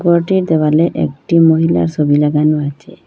ঘরটির দেওয়ালে একটি মহিলার ছবি লাগানো আছে।